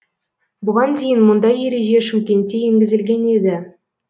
бұған дейін мұндай ереже шымкентте енгізілген еді